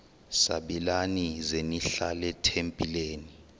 sabelani zenihlal etempileni